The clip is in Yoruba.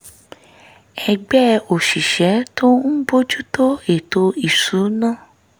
ẹgbẹ́ òṣìṣẹ́ tó ń bójú tó ètò ìṣúnná